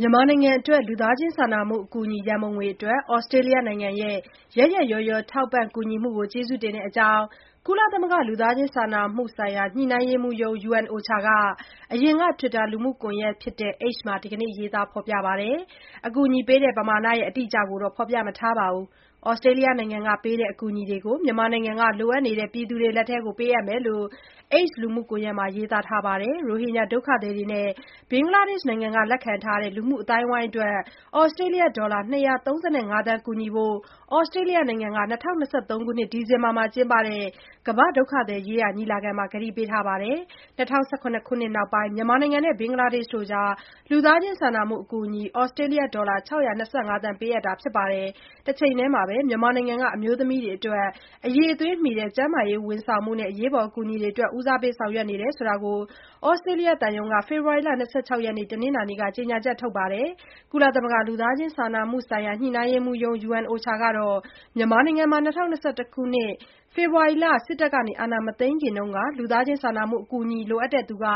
မြန်မာနိုင်ငံအတွက် လူသားချင်းစာနာမှု အကူအညီ ရံပုံငွေအတွက် ဩစတေးလျနိုင်ငံရဲ့ ရက်ရက်ရောရော ထောက်ပံ့ကူညီမှုကိုကျေးဇူးတင်တဲ့အကြောင်း ကုလသမဂ္ဂ လူသားချင်းစာနာမှုဆိုင် ညှိနှိုင်းရေးမှူးရုံး UNOCHA က အရင်က တွစ်တာ လူမှုကွန်ယက်ဖြစ်တဲ့ X မှာ ဒီနေ့ ရေးသားထားပါတယ်။ အကူအညီ ပမာဏ အတိအကျကို ဖော်ပြမထားပေမယ့် ဩစတေးလျနိုင်ငံက ပေးတဲ့ အကူအညီတွေကို မြန်မာနိုင်ငံက လိုအပ်နေတဲ့သူတွေလက်ထဲ ပေးအပ်မှာ ဖြစ်တဲ့အကြောင်း X လူမှုကွန်ယက်မှာ ရေးသားထားတာပါ။ ရိုဟင်ဂျာ ဒုက္ခသည်တွေနဲ့ ဘင်္ဂလားဒေရှ်နိုင်ငံက လက်ခံထားတဲ့ လူမှု အသိုက်အဝန်းအတွက် ဩစတေးလျ ဒေါ်လာ ၂၃၅ သန်း ကူညီဖို့ ဩစတြေးလျနိုင်ငံက ၂၀၂၃ ခုနှစ် ဒီဇင်ဘာလမှာ ကျင်းပတဲ့ ကမ္ဘာ့ဒုက္ခသည်ရေးရာ ညီလာခံမှာ ကတိပေးထားပါတယ်။ ၂၀၁၇ ခုနှစ်နောက်ပိုင်းမှာ မြန်မာနိုင်ငံနဲ့ ဘင်္ဂလားဒေ့ရှ်နိုင်ငံအတွက် လူသားချင်းစာနာမှုအကူအညီ ဩစတေးလျ ဒေါ်လာ ၆၂၅ သန်း ပေးအပ်တာ ဖြစ်ပါတယ်။ တချိန်တည်းမှာ မြန်မာနိုင်ငံက အမျိုးသမီးတွေအတွက် အရည်အသွေးမှီ ကျန်းမာရေး ဝန်ဆောင်မှုနဲ့ အရေးပေါ် အကူအညီအတွက် ဦးစားပေး ဆောင်ရွက်နေတဲ့အကြောင်း ဩစတေးလျသံရုံးက ဖေဖော်ဝါရီ ၂၆ ရက်၊ နင်္လာနေ့က ကြေညာချက် ထုတ်ပြန်ပါတယ်။ ကုလသမဂ္ဂ လူသားချင်းစာနာမှုဆိုင် ညှိနှိုင်းရေးမှူးရုံး UNOCHA ကတော့ မြန်မာနိုင်ငံမှာ ၂၀၂၁ ခုနှစ် ဖေဖေါ်ဝါရီလ စစ်တပ်အာဏာမသိမ်းခင်က လူသားချင်းစာနာမှု အကူအညီ လိုအပ်တဲ့သူ တ